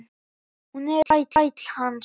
Hún er þræll hans.